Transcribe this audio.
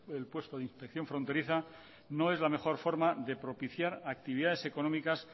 el puesto de inspección fronteriza no es la mejor forma de propiciar actividades económicas